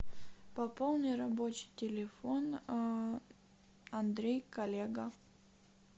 пополни рабочий телефон андрей коллега